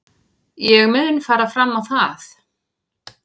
Ég mun fara fram á það.